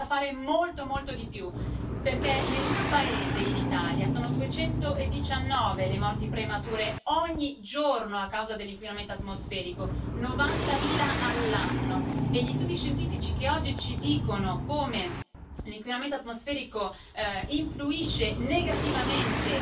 Ma c'è da fare molto, molto di più, perché nel mio paese, in Italia, sono 219 le morti premature, ogni giorno, a causa dell'inquinamento atmosferico, novantamila all'anno, e gli studi scientifici che oggi ci dicono come l'inquinamento atmosferico influisce negativamente